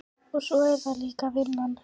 Og svo er það líka vinnan.